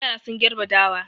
Yara sun gerbe dawa.